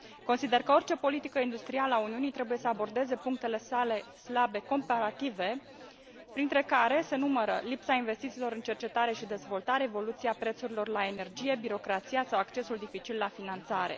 Consider că orice politică industrială a Uniunii trebuie să abordeze punctele sale slabe comparative, printre care se numără lipsa investițiilor în cercetare și dezvoltare, evoluția prețurilor la energie, birocrația sau accesul dificil la finanțare.